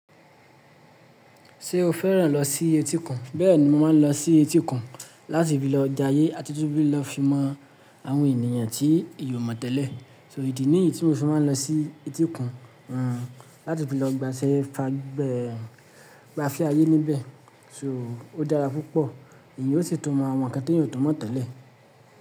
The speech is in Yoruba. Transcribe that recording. Ṣé o fẹ́ràn lọ sí etíkuń Bẹ́ẹ̀ni, mo máa ń lọ sí etí òkun láti fi lọ jayé àti tún fi lọ fi mọ àwọn ènìyàn tí èèyàn ò mò tẹ́lẹ̀. Ídí nìyí tí mo fí máa ń lọ sí etíkùn, láti fi lọ gbafé ayé níbẹ̀. Fún ìdí èyí, ó dára púpọ̀, èèyàn ó sí tún mọ àwọn ńkan tí èèyàn kò túnmọ̀ tẹ́lẹ̀.